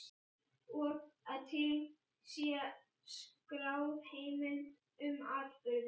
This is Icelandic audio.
Og að til sé skráð heimild um atburðinn.